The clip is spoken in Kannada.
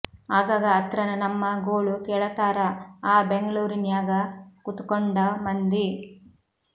ಆಗಾಗ ಅತ್ರನ ನಮ್ಮ ಗೋಳು ಕೇಳತಾರ ಆ ಬೆಂಗಳೂರಿನ್ಯಾಗ ಕುತುಕೊಂಡ ಮಂದಿ